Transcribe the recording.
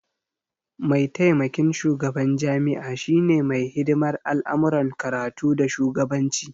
Maitamakin shugaban jami'a shine mai hidimar al'amuran karatu da shugabanci